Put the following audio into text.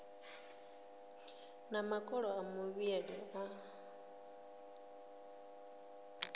na makolo a muvhili a